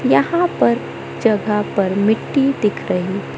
यहां पर जगह पर मिट्टी दिख रही--